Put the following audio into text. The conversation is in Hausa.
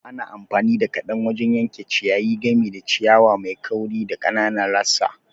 Ana amfani da kadan wajen yanke ciyayi, gami da ciyawa mai kauri da ƙananan rassa.